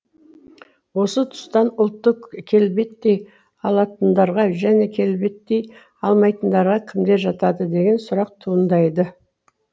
осы тұстан ұлтты келбеттей алатындарға және келбеттей алмайтындарға кімдер жатады деген сұрақ туындайды